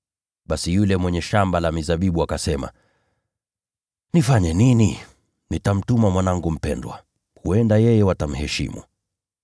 “Basi yule mwenye shamba la mizabibu akasema, ‘Nifanye nini? Nitamtuma mwanangu mpendwa, huenda yeye watamheshimu.’